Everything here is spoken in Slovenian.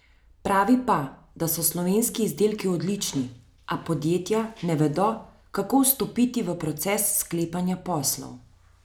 Pravi pa, da so slovenski izdelki odlični, a podjetja ne vedo, kako vstopati v proces sklepanja poslov.